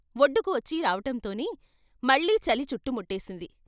వొడ్డుకి వచ్చీ రావటంతోనే మళ్ళీ చలి చుట్టు ముట్టేసింది.